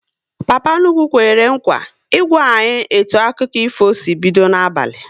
Papa nnukwu kwere nkwa ị gwa anyị etu akụkọ ifo si bido n'abalị